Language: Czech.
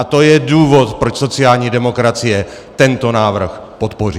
A to je důvod proč sociální demokracie tento návrh podpoří.